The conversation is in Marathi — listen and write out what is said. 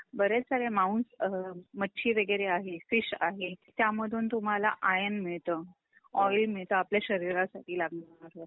बरेच सारे मांस अ अ मच्छी वगैरे आहे, फिश आहे त्यामधून तुम्हाला आयर्न मिळत, ऑइल मिळत आपल्या शरीरासाठी लागणार.